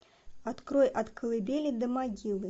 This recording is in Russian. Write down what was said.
открой от колыбели до могилы